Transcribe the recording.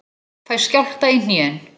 Fæ skjálfta í hnén.